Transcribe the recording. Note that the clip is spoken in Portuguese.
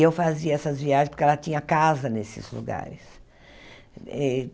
Eu fazia essas viagens porque ela tinha casa nesses lugares.